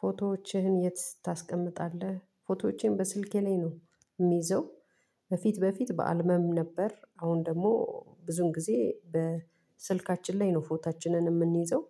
ፎቶዎችህን የት ታስቀምጣለህ? ፎቶዎቼን በስልኬ ላይ ነው የምይዘው። በፊት በፊት በአልበም ነበር አሁን ደግሞ ብዙን ጊዜ በስልካችን ላይ ነው ፎቷችንን የምንይዘው።